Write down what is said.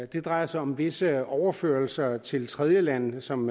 det drejer sig om visse overførsler til tredjelande som